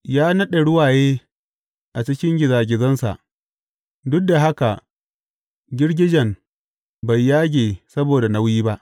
Ya naɗe ruwaye a cikin gizagizansa, duk da haka girgijen bai yage saboda nauyi ba.